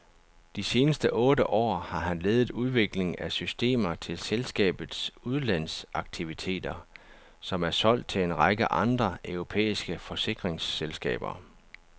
De seneste otte år har han ledet udviklingen af systemer til selskabets udlandsaktiviteter, som er solgt til en række andre europæiske forsikringsselskaber.